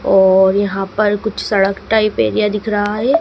और यहां पर कुछ सड़क टाइप एरिया दिख रहा है।